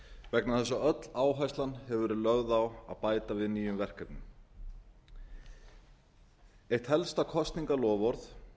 vegna þess að öll áherslan hefur verið lögð á að bæta við nýjum verkefnum eitt helsta kosningaloforð